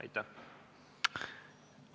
Aitäh!